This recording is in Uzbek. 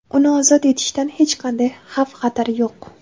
Uni ozod etilishidan hech qanday xavf xatar yo‘q.